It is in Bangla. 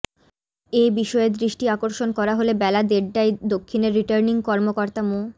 এ বিষয়ে দৃষ্টি আকর্ষণ করা হলে বেলা দেড়টায় দক্ষিণের রিটার্নিং কর্মকর্তা মো